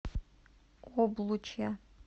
облучья